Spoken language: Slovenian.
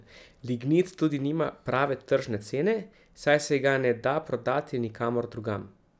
Lignit tudi nima prave tržne cene, saj se ga ne da prodati nikamor drugam.